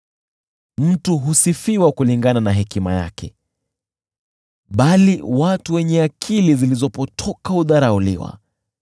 Mtu husifiwa kulingana na hekima yake, bali watu wenye akili zilizopotoka hudharauliwa.